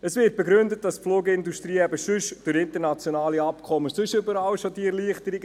Es wird begründet, die Flugindustrie habe durch internationale Abkommen sonst schon überall Erleichterungen.